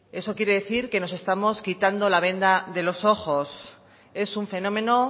eso quiere decir que nos estamos quitando la venda de los ojos es un fenómeno